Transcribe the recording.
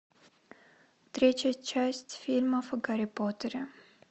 третья часть фильмов о гарри поттере